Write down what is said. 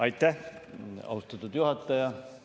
Aitäh, austatud juhataja!